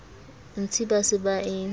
ntsi ba se ba e